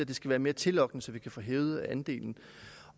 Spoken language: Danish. det skal være mere tillokkende så vi kan få hævet andelen